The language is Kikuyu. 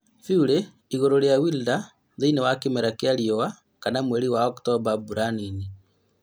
Fury igũrũ rĩa Wilder thĩinĩ wa kĩmera gĩa riũa kana mweri wa Oktomba mbura nini